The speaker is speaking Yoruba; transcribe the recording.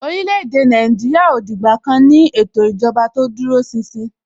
orílè-èdè Nàìjíríà ò dìgbà kan ní ètò ìjọba tó dúró ṣinṣin.